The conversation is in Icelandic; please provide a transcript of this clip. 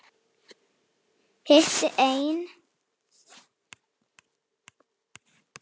Hitti einn.